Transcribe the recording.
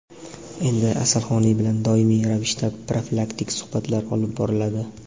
endilikda "Asalhoney" bilan doimiy ravishda profilaktik suhbatlar olib boriladi.